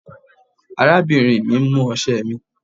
Arábìnrin mi mú ọ̀sẹ̀ mí.